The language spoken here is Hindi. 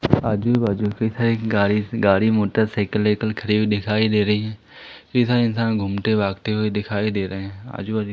आजू बाजू कई सारी गाड़ी गाड़ी मोटरसाइकिल वाइकल खड़ी दिखाई दे रही हैं कई सारे इंसान घूमते भागते हुए दिखाई दे रहे हैं आजू बाजू--